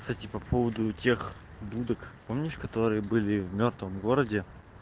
кстати по поводу тех будок помнишь которые были в мёртвом городе